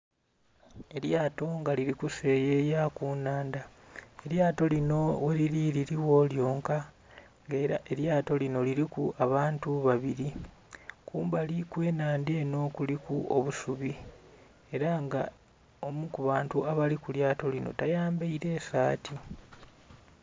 Elyato nga lili kuseyeya ku nhandha elyato linho ghe lili liligho lyonka nga era elyato linho liliku abantu babiri, kumbali kwe nhandha enho kuliku obusubi era nga omu ku bantu abali ku lyato linho tayambaire saati.